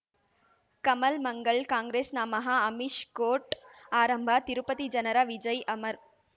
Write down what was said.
ಕಮಲ್ ಮಂಗಳ್ ಕಾಂಗ್ರೆಸ್ ನಮಃ ಅಮಿಷ್ ಕೋರ್ಟ್ ಆರಂಭ ತಿರುಪತಿ ಜನರ ವಿಜಯ್ ಅಮರ್